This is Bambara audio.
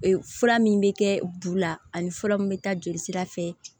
Ee fura min bɛ kɛ bu la ani fura min bɛ taa jolisira fɛ